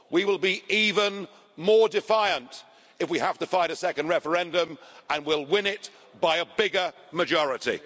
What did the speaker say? We will be even more defiant if we have to fight a second referendum, and we will win it by a bigger majority.